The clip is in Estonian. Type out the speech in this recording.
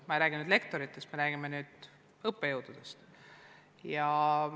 Ma ei räägi ainult lektoritest, vaid ka teistest õppejõududest.